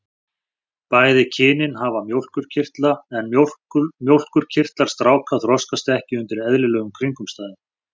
Bæði kynin hafa mjólkurkirtla en mjólkurkirtlar stráka þroskast ekki undir eðlilegum kringumstæðum.